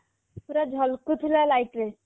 ପୁରା ଝଲକୁଥିଲା light ରେ